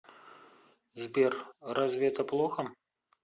сбер разве это плохо